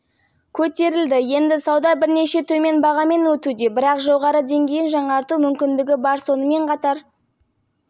жоғарыда айтылғандай жетекші мұнай трейдерлері және топ-менеджерлері арасында консенсус жоқ болжамдар бір-бірінен алшаққа ерекшеленеді бұл баға